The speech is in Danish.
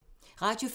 Radio 4